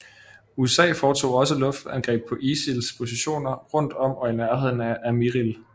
USA foretog også luftangreb på ISILs positioner rundt om og i nærheden af Amirli